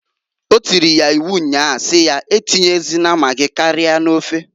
O tiri ya iwu nnya si ya, a tinyezịna magi karịa n'ofeǃ